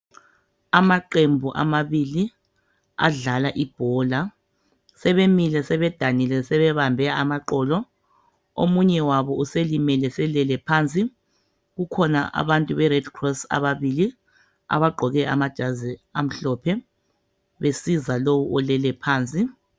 Amaqembu amabili adlala ibhola, sebemile sebedanile sebebambe amaqolo. Omunye wabo uselimele selele phansi, kukhona abantu be"Red Cross" ababili abagqoke amajazi amhlophe besiza lowo olele phansi.